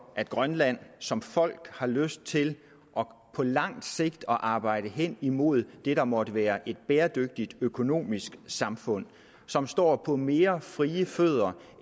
at grønland som folk har lyst til på lang sigt at arbejde hen imod det der måtte være et bæredygtigt økonomisk samfund som står på mere frie fødder